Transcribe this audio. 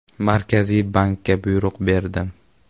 “Markaziy bankka buyruq berdim.